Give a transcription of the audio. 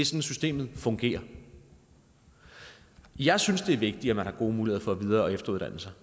systemet fungerer jeg synes det er vigtigt at man har gode muligheder for at videre og efteruddanne sig